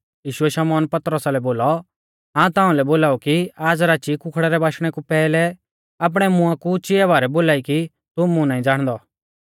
यीशुऐ शमौना लै बोलौ हाऊं ताऊं लै बोलाऊ कि आज़ राची कुखड़ै रै बाशणे कु पैहलै आपणै मुंआ कु चिआ बारै बोलाई कि तू मुं नाईं ज़ाणदौ